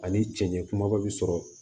Ani cɛncɛn kumaba bi sɔrɔ